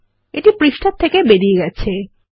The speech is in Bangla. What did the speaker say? এটা পৃষ্ঠার থেকে বেরিয়ে গেছে160